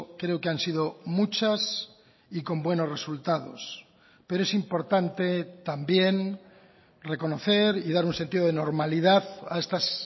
creo que han sido muchas y con buenos resultados pero es importante también reconocer y dar un sentido de normalidad a estas